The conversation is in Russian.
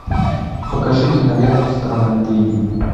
покажи киноленту страна медведей